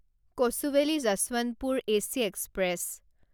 Kochuveli Yesvantpur AC express